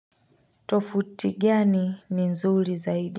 Tofuti gani ni nzuri zaidi.